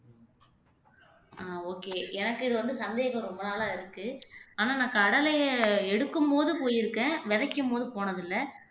ஆஹ் okay எனக்கு இது வந்து சந்தேகம் ரொம்ப நாளா இருக்கு ஆனா நான் கடலையை எடுக்கும்போது போயிருக்கேன் விதைக்கும்போது போனதில்லை